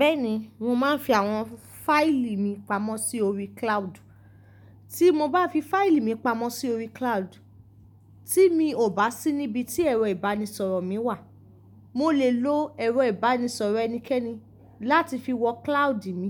Bẹ́ẹ̀ni, mo máa ń fi àwọn fáìlì mi pamọ́ sí orí cloud. Tí mo bá fi fáìlì mi pamọ́ sí orí cloud, tí mi ò bá sí níbi tí ẹ̀rọ ìbánisọ̀rọ̀ mi wà, mo lè lo ẹ̀rọ ìbánisọ̀rọ̀ ẹnikẹ́ni láti fi wọ cloud mi,